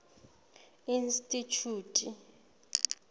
institjhute